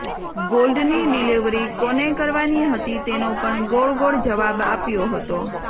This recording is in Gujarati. ગોલ્ડની ડિલીવરી કોને કરવાની હતી તેનો પણ ગોળ ગોળ જવાબ આપ્યો હતો